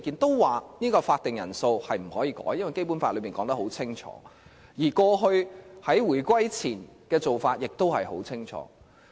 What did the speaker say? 他們表示法定人數不能更改，因為《基本法》已清楚訂明，而過去在回歸前的做法亦十分清楚。